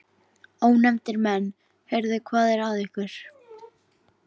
Ónefndir menn: Heyrðu, hvað er að ykkur?